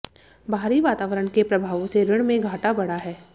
बाहरी वातावरण के प्रभावों से ऋण में घाटा बढ़ा है